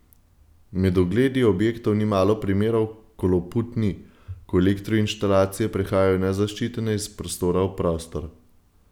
Med ogledi objektov ni malo primerov, ko loput ni, ko elektroinštalacije prehajajo nezaščitene iz prostora v prostor.